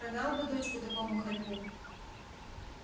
продал бы дочку такому хорьку